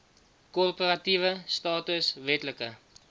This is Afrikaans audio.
korporatiewe status wetlike